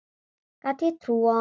Gat ég trúað honum?